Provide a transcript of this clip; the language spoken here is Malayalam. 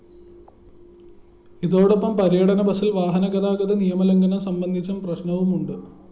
ഇതോടൊപ്പം പര്യടന ബസില്‍ വാഹനഗതാഗത നിയമലംഘനം സംബന്ധിച്ചും പ്രദര്‍ശനവുമുണ്ട്